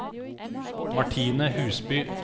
Martine Husby